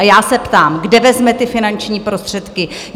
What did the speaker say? A já se ptám, kde vezme ty finanční prostředky?